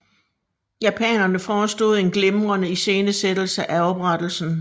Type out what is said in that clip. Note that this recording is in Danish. Japanerne forestod en glimrende iscenesættelse af oprettelsen